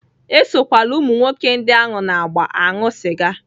Esokwala ụmụ nwoke ndị ahụ na-agba aṅụ sịga!